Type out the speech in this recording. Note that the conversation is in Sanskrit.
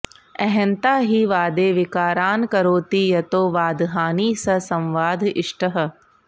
अहंता हि वादे विकारान् करोति यतो वादहानिः स संवाद इष्टः